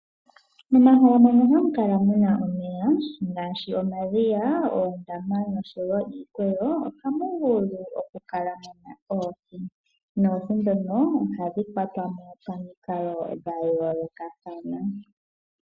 Momahala mono hamu kala muna omeya ngaashi omadhiya ,oondama nosho woo iikweyo ohamu vulu oku kala muna oohi. Oohi ndhono ohadhi kwatwa mo pamikalo dha yoolokathana.